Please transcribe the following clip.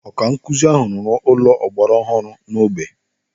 Ọkankuzi ahụ ruru ụlọ ọgbara ọhụrụ n'ógbè.